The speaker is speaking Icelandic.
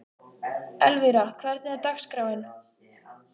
Elvira, hvernig er dagskráin?